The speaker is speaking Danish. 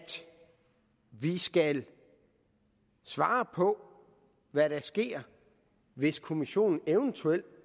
vi skal svare på hvad der sker hvis kommissionen eventuelt